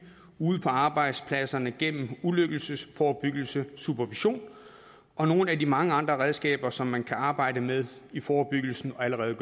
ude på arbejdspladserne gennem ulykkesforebyggelse supervision og nogle af de mange andre redskaber som man kan arbejde med i forebyggelsen og allerede